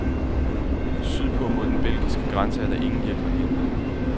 Syd på mod den belgiske grænse er der ingen hjælp at hente.